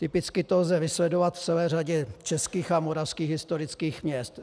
Typicky to lze vysledovat v celé řadě českých a moravských historických měst.